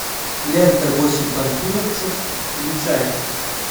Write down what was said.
лента восемь панфиловцев включай